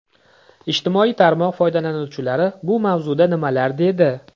Ijtimoiy tarmoq foydalanuvchilari bu mavzuda nimalar dedi?